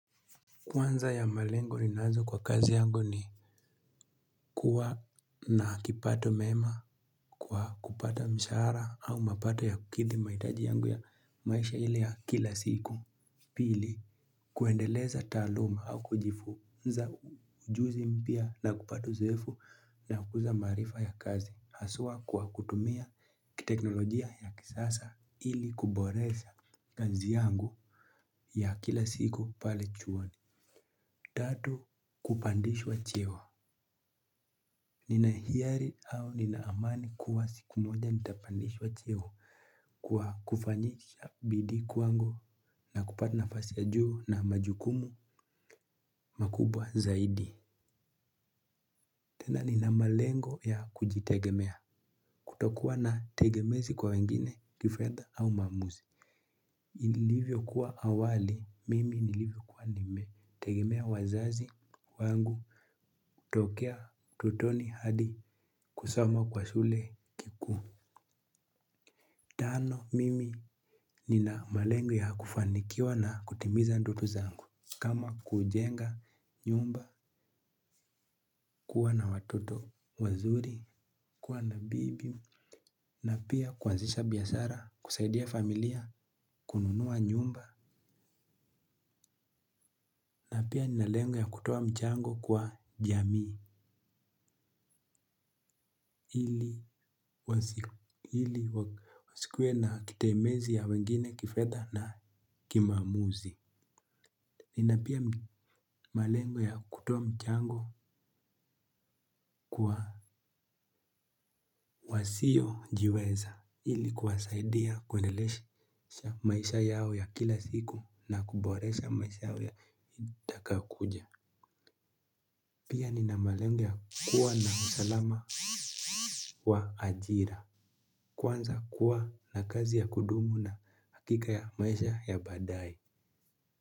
Kwanza ya malengo ninazo kwa kazi yangu ni kuwa na kipato mema kwa kupata mshahara au mapato ya kukidhi mahitaji yangu ya maisha ile ya kila siku. Pili, kuendeleza taaluma au kujifu. Ujuzi mpya na kupata uzoefu na kukuza maarifa ya kazi. Haswa kwa kutumia kiteknolojia ya kisasa ili kuboresha kazi yangu ya kila siku pale chuan. Tatu, kupandishwa cheo. Nina hiari au nina amani kuwa siku moja nitapandishwa cheo kwa kufanyisha bidii kwangu na kupata nafasi ya juu na majukumu makubwa zaidi. Tena nina malengo ya kujitegemea, kutokuwa na tegemezi kwa wengine, kifedha au maamuzi. Ilivyo kuwa awali, mimi nilivyo kuwa nimetegemea wazazi wangu, tokea ututoni hadi, kusoma kwa shule kikuu. Tano, mimi nina malengo ya kufanikiwa na kutimiza ndoto zangu. Kama kujenga nyumba kuwa na watoto wazuri, kuwa na bibi na pia kuanzisha biashara, kusaidia familia, kununua nyumba na pia nina lengo ya kutoa mchango kwa jamii ili wasikuwe na kitemezi ya wengine kifedha na kimaamuzi. Nina pia malengo ya kutoa mchango kwa wasio jiweza ili kuwasaidia kuendelesha maisha yao ya kila siku na kuboresha maisha yao ya itakayokuja. Pia nina malengo ya kuwa na usalama wa ajira. Kwanza kuwa na kazi ya kudumu na hakika ya maisha ya badaye.